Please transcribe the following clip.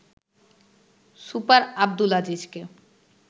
super Abdul আজিজকে